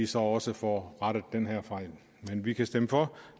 så også får rettet den her fejl men vi kan stemme for